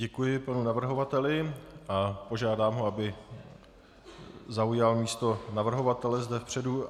Děkuji panu navrhovateli a požádám ho, aby zaujal místo navrhovatele zde vepředu.